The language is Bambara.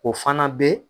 O fana bɛ